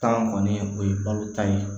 Tan kɔni o ye balo tan ye